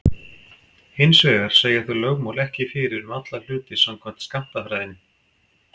Hins vegar segja þau lögmál ekki fyrir um alla hluti samkvæmt skammtafræðinni.